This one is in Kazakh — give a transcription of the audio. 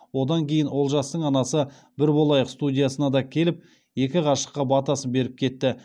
одан кейін олжастың анасы бір болайық студиясына да келіп екі ғашыққа батасын беріп кетті